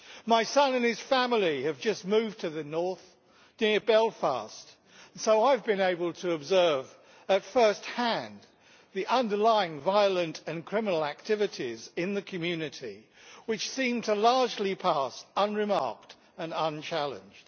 My son and his family have just moved to the North near Belfast so I have been able to observe at first hand the underlying violent and criminal activities in the community which seem to pass largely unremarked and unchallenged.